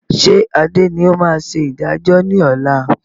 Ṣé Adé ni ó máa ṣe ìdájọ́ ni ọ̀la?